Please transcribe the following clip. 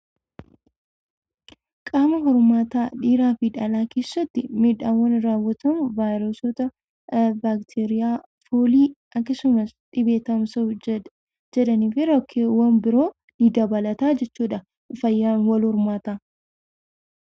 Qaama walhormaata dhiiraa fi dhalaa keessatti miidhaawwan uummamu vaayireesota, baakteeriootaa fi foolii fi dhibee tamsa'uu danda'an waan jiraniif fayyaa qaama walhormaata keenyaa eeggachuun gaariidha.